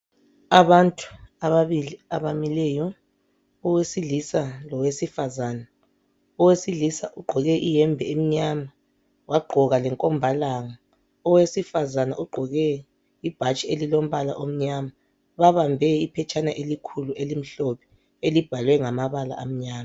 Abantu ababili abamileyo owe silisa lowesifazana. Owesilisa ugqoke ihembe emnyama wagqoka le nkomba langa owesifazana ugqoke ibhatshi elilombala omnyama babambe iphetshana elikhulu elimhlophe elibhalwe ngamabala amnyama.